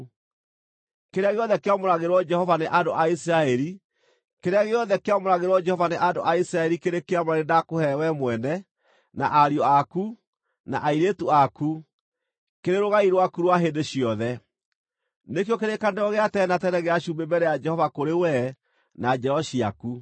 Kĩrĩa gĩothe kĩamũragĩrwo Jehova nĩ andũ a Isiraeli kĩrĩ kĩamũre nĩndakũhe wee mwene, na ariũ aku, na airĩtu aku, kĩrĩ rũgai rwaku rwa hĩndĩ ciothe. Nĩkĩo kĩrĩkanĩro gĩa tene na tene gĩa cumbĩ mbere ya Jehova kũrĩ wee na njiaro ciaku.”